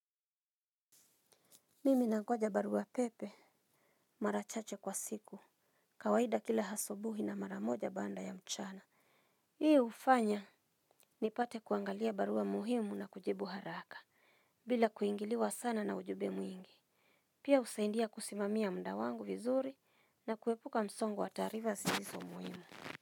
Mimi nangoja baruapepe mara chache kwa siku kawaida kila asubuhi na mara moja baada ya mchana. Hii hufanya nipate kuangalia barua muhimu na kujibu haraka bila kuingiliwa sana na ujumbe mwingi. Pia husaidia kusimamia muda wangu vizuri na kuepuka msongo wa taarifa zisizo muhimu.